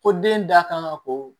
Ko den da kan ka ko